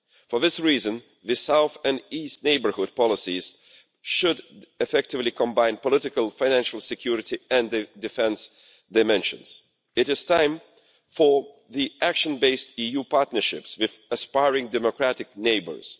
For this reason, the South and East Neighbourhood Policies should effectively combine political financial security and the defence dimensions. It is time for the action-based EU partnerships with aspiring democratic neighbours.